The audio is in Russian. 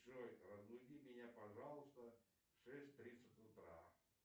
джой разбуди меня пожалуйста в шесть тридцать утра